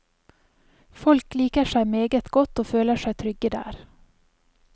Folk liker seg meget godt og føler seg trygge der.